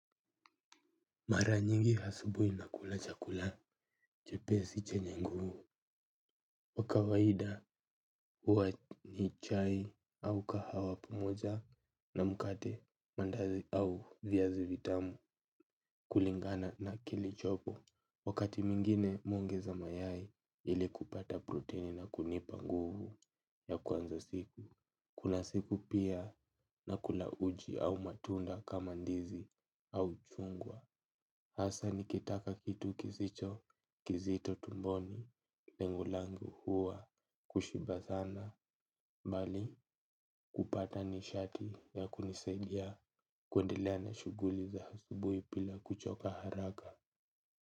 Mara nyingi asubuhi nakula chakula, chepesi chenye nguvu wa kawaida huwa ni chai au kahawa pamoja na mkate mandazi au viazi vitamu kulingana na kilichopo, wakati mwingine mi huongeza mayai ili kupata protini na kunipa nguvu ya kuanza siku, kuna siku pia nakula uji au matunda kama ndizi au chungwa. Hasa nikitaka kitu kisicho kizito tumboni. Lengo langu huwa kushiba sana bali kupata nishati ya kunisaidia kuendelea na shughuli za asubuhi bila kuchoka haraka.